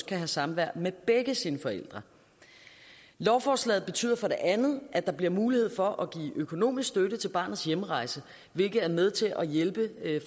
kan have samvær med begge sine forældre lovforslaget betyder for det andet at der bliver mulighed for at give økonomisk støtte til barnets hjemrejse hvilket er med til at hjælpe